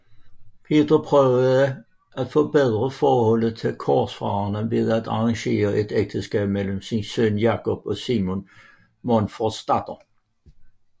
Peter prøvede at forbedre forholdet til korsfarerne ved at arrangere et ægteskab mellem sin søn Jakob og Simon Monforts datter